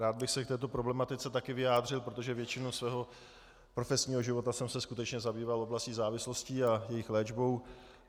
Rád bych se k této problematice taky vyjádřil, protože většinu svého profesního života jsem se skutečně zabýval oblastí závislostí a jejich léčbou.